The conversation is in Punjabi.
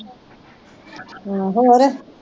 ਹਮ ਹੋਰ